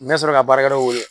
N bɛ sɔrɔ ka baarakɛlaw wele